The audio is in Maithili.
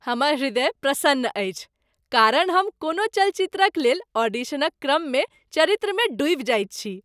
हमर हृदय प्रसन्न अछि कारण हम कोनो चलचित्रक लेल ऑडिशनक क्रममे चरित्रमे डूबि जाइत छी।